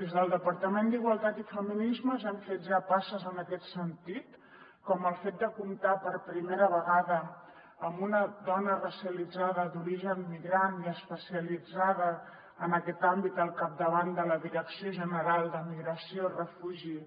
des del departament d’igualtat i feminismes hem fet ja passes en aquest sentit com el fet de comptar per primera vegada amb una dona racialitzada d’origen migrant i especialitzada en aquest àmbit al capdavant de la direcció general de migració refugi